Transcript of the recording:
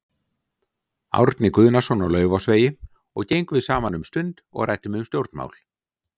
Árna Guðnason á Laufásvegi og gengum við saman um stund og ræddum um stjórnmál.